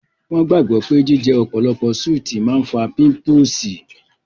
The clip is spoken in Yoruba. Wọ́n gbàgbọ́ pé jíjẹ ọ̀pọ̀lọpọ̀ súùtì máa ń fà pímúpúsi